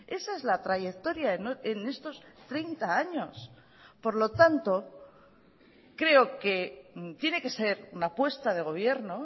esa es la trayectoria en estos treinta años por lo tanto creo que tiene que ser una apuesta de gobierno